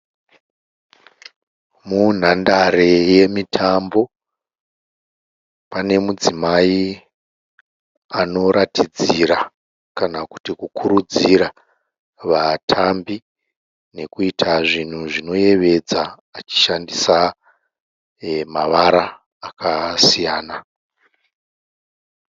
Munhandare yemitambo panemudzimai anoratidzira kana kuti kukuridzira vatambi nekuita zvinhu zvinoyevedza achishandisa mavara akasiyana.